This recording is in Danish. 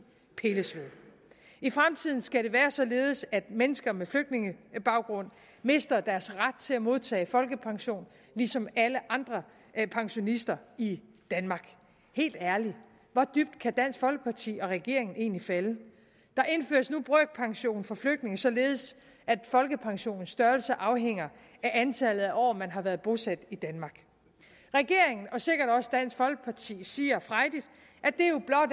pilles ved i fremtiden skal det være således at mennesker med flygtningebaggrund mister deres ret til at modtage folkepension ligesom alle andre pensionister i danmark helt ærligt hvor dybt kan dansk folkeparti og regeringen egentlig falde der indføres nu brøkpension for flygtninge således at folkepensionens størrelse afhænger af antallet af år man har været bosat i danmark regeringen og sikkert også dansk folkeparti siger frejdigt